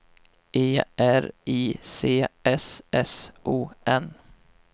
E R I C S S O N